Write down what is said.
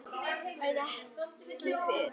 En ekki fyrr.